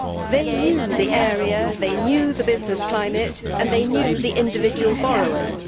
They knew the area, they knew the business climate and they knew the individual borrowers.